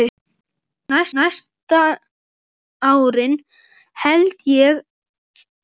Næstu árin held ég, já.